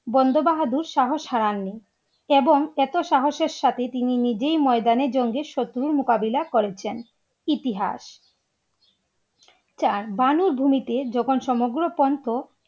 বন্ধ বাহাদুর শাহস হারাননি এবং এতো সাহসের সাথে তিনি নিজেই ময়দানে জঙ্গির শত্রু মোকাবিলা করেছেন। ইতিহাস চার বানুর ভূমিতে যখন সমগ্র পান্থ